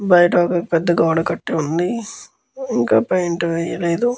బయట ఒక పెద్ద గోడ కట్టి ఉంది ఇంకా పేయింట్ వేయలేదు.